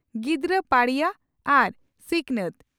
ᱜᱤᱫᱽᱨᱟᱹ ᱯᱟᱹᱲᱤᱭᱟᱹ ᱟᱨ ᱥᱤᱠᱱᱟᱛ